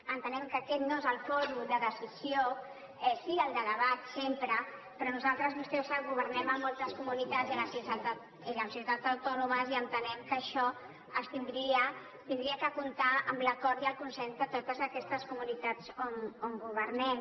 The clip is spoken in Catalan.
entenem que aquest no és el fòrum de decisió sí el de debat sempre però nosaltres i vostè ho sap governem a moltes comunitats i a les ciutats autònomes i entenem que això hauria de comptar amb l’acord i el consens de totes aquestes comunitats on governem